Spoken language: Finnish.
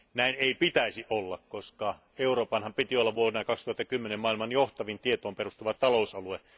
Näin ei pitäisi olla, koska Euroopan piti olla vuonna 2010 maailman johtavin tietoon perustuva talousalue.